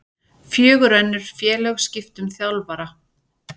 Fjögur önnur félög skipta um þjálfara